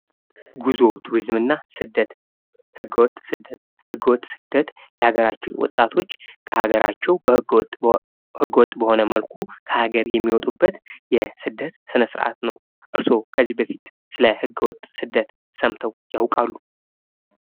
ጉዞ ቱሪዝምና ስደት ህገወጥ ስደት ህገወጥ ስደት የሀገራችን ወጣቶች ከሀገራችን ህገወጥ በሆነ መልኩ ከሀገር የሚወጡበት የስደት ስነስርዓት ነው። እርስዎ ከዚህ በፊት ስለህገወጥ ስደት ሰምተው ያውቃሉ?